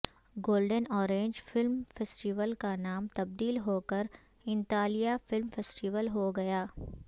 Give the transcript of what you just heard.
golden orange film festival کا نام تبدیل ہو کر انطالیہ فلم فیسٹیول ہو گیا